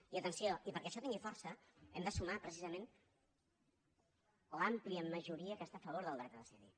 i atenció perquè això tingui força hem de sumar precisament l’àmplia majoria que està a favor del dret a decidir